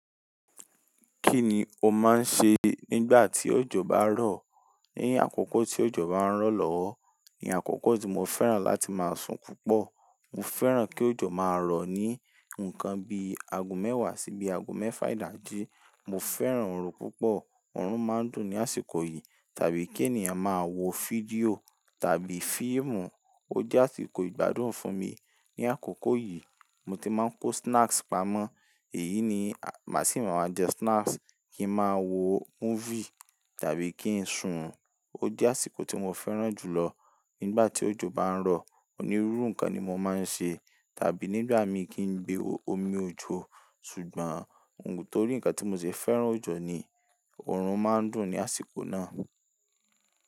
Kí ni o máa ń se nígbà tí òjò bá ń rọ̀? Ní àkókò tí òjò bá ń rọ̀ lọ́wọ́, ní àkókò tí mo fẹ́ràn láti máa sùn púpọ̀. Mo fẹ́ràn kí òjò máa rọ̀ ní ǹkan bí i ago mẹ́wàá sí i bí i ago mẹ́fà ìdájí. Mo fẹ́ràn orun púpọ̀, orun máa ń dùn ní àsìkò yìí tàbí kí ènìyàn máa wo fídíò tàbí fíìmù. Ó jẹ́ àsìkò ìgbádùn fún mi. Ní àkókò yìí, mo ti máa ń ko snacks pamọ́. Èyí ni, màá sì máa jẹ snacks, kí ń máa wo múfìi tàbí kí ń sùn. Ó jẹ́ àsìkò tí mo fẹ́ràn jùlọ nígbà tí òjò bá ń rọ̀. Onírúurú ǹkan ni mo máa ń ṣe tàbí nígbà mi kí ń gbé omi òjò. Ṣùgbọ́n torí ǹkan tí mo se fẹ́ràn òjò ni orun máa ń dùn ní àsìkò náà.